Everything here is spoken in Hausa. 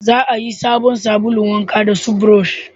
Za a yi sabon sabulun wanka da su burosh